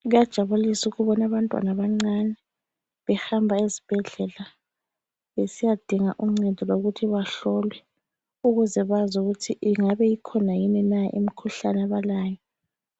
Kuyajabulisa ukubona abantwana abancane behamba ezibhedlela besiyadinga uncedo lokuthi bahlolwe ukuze bazi ukuthi ingabe ikhona yini na imikhuhlane abalayo